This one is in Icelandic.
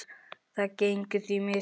Það gengur því misvel.